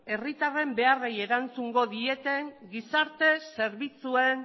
herritarren beharrei erantzungo dieten gizarte zerbitzuen